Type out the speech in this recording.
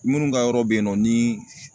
Munnu ka yɔrɔ be yen nɔ ni